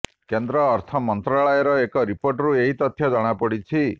କେନ୍ଦ୍ର ଅର୍ଥ ମନ୍ତ୍ରାଳୟର ଏକ ରିପୋର୍ଟରୁ ଏହି ତଥ୍ୟ ଜଣାପଡ଼ିଛି